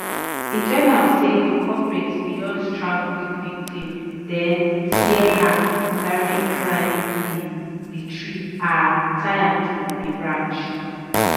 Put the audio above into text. e turn out say di culprit bin don strangle di victim den tear her sari climb di di tree and tie am to a branch